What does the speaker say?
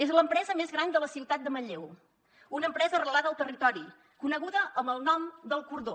és l’empresa més gran de la ciutat de manlleu una empresa arrelada al territori coneguda amb el nom d’ el cordó